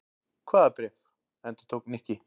Hvaða bréf? endurtók Nikki.